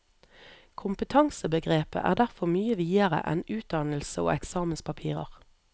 Kompetansebegrepet er derfor mye videre enn utdannelse og eksamenspapirer.